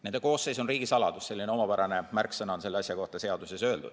Nende koosseis on riigisaladus – selline omapärane märksõna on selle asja kohta seaduses.